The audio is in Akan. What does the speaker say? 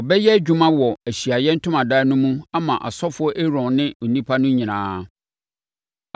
Wɔbɛyɛ adwuma wɔ Ahyiaeɛ Ntomadan no mu ama ɔsɔfoɔ Aaron ne nnipa no nyinaa.